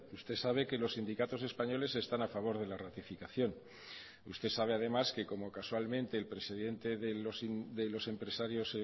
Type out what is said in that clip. usted sabe que los sindicatos españoles están a favor de la ratificación usted sabe además que como casualmente el presidente de los empresarios